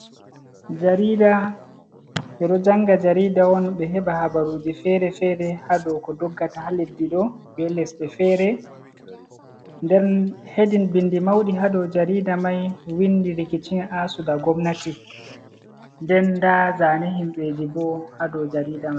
Jarida ɓeɗo janga jarida on, ɓe heɓa habaruji fere-fere hadoko doggata haleddiɗo bellesɗe fere, nden hedin bindi mauɗi hadow jarida mai windi rikicin asu da gomnati, nden nda zane himɓeji bo hadow jarida man.